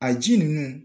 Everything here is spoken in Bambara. A ji ninnu